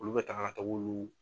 Olu bɛ taga